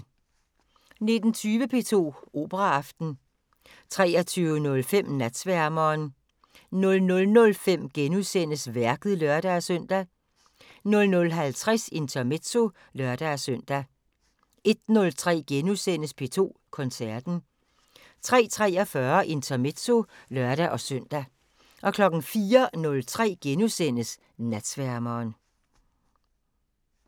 19:20: P2 Operaaften 23:05: Natsværmeren 00:05: Værket *(lør-søn) 00:50: Intermezzo (lør-søn) 01:03: P2 Koncerten * 03:43: Intermezzo (lør-søn) 04:03: Natsværmeren *